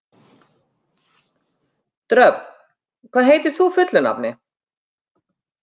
Dröfn, hvað heitir þú fullu nafni?